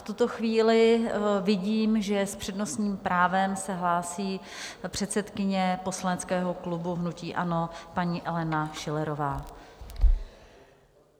V tuto chvíli vidím, že s přednostním právem se hlásí předsedkyně poslaneckého klubu hnutí ANO paní Alena Schillerová.